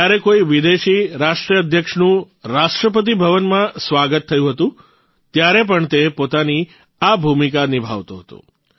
જયારે કોઇ વિદેશી રાષ્ટ્રાધ્યક્ષનું રાષ્ટ્રપતિભવનમાં સ્વાગત થયું હતું ત્યારે પણ તે પોતાની આ ભૂમિકા નિભાવતો હતો